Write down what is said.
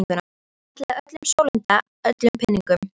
Hann ætlaði að sólunda öllum peningunum.